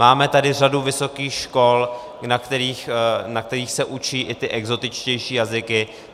Máme tady řadu vysokých škol, na kterých se učí i ty exotičtější jazyky.